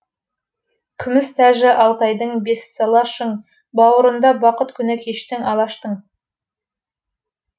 күміс тәжі алтайдың бессала шың бауырында бақыт күні кешті алашың